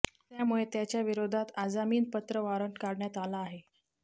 त्यामुळे त्याच्या विरोधात आजामीनपत्र वॉरंट काढण्यात आला आहे